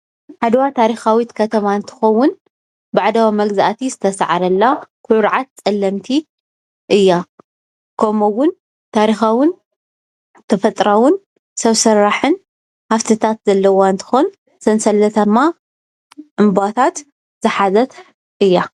ዓድዋ ታሪኻዊት ከተማ እንትትኸዉን ባዕዳዊ መግዛእቲ ዝተስዓረላ ኩርዓት ፀለምቲ እያ። ከምኡ እዉን ታሪኻዉን ተፈጥራኣውን ሰብ ስራሕን ሃፍትታት ዘለዋ እንትኾን ሰንሰለታማ ዕንበባታት ዝሓዘት እያ።